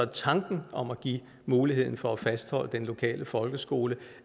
tanken om at give mulighed for at fastholde den lokale folkeskole